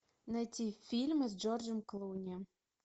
найти фильмы с джорджем клуни